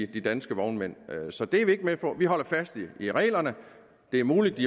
de danske vognmænd så det er vi ikke med på vi holder fast i reglerne det er muligt